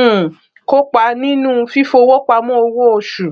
um kópa nínú fífowópamọ owóoṣù